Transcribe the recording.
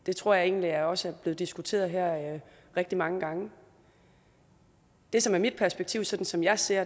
det tror jeg egentlig også er blevet diskuteret her rigtig mange gange det som er mit perspektiv sådan som jeg ser